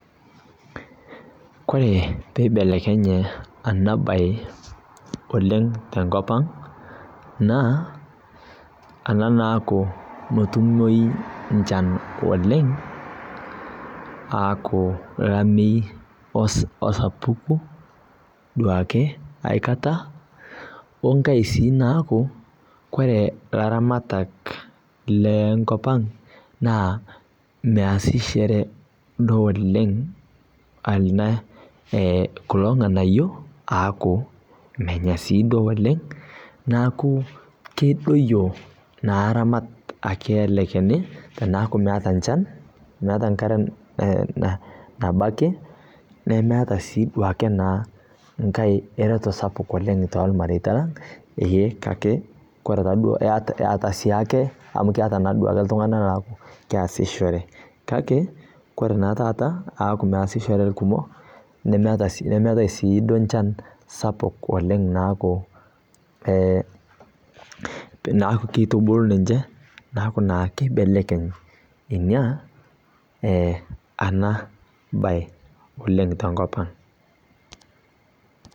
Ore peibelekenye ena bae oleng tenkopang naa ena naaku metumoyu nchan oleng aaku olameyu osapuku duo ai kata, wenkae sii naaku kore ilaramatak le nkopang naa measishore duo oleng kulo ng'anayio aaku menya Sii duo oleng neaku kedoyio naa aramat ake ele shani teneeku meeta nchan, meeta enkare nabaiki nemeeta sii duake naa enkae eretoto sapuk toormareita lang kake koree ore taduo eeta siake amu todua naake iltung'anak looku keesishore kake ore naa taata aaku meesishore irkumok nemetai sii duo nchan sapuk oleng naaku, naaku kitubulu ninche, naaku naa kibelekeny ina ana bae oleng tenkopang